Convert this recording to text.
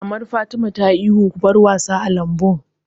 Mamar Fatima ta yi ihun 'Ku bar wasa a lambun'!